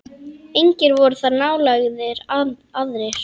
Engir voru þar nálægir aðrir.